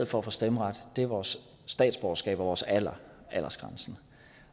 for at få stemmeret er vores statsborgerskab og vores alder aldersgrænsen